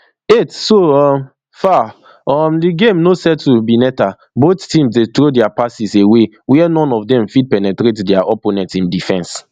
eight so um far um di game no settle bneta both teams dey throw dia passes away wia none of dem fit to penetrate dia opponent im defense